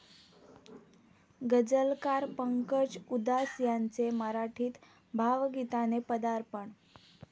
गझलकार पंकज उदास यांचे मराठीत भावगीताने पदार्पण